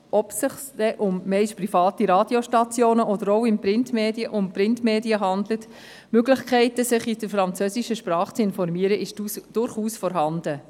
Ob es sich zumeist um private Radiostationen oder auch um Printmedien handelt – Möglichkeiten, sich in der französischen Sprache zu informieren, sind durchaus vorhanden.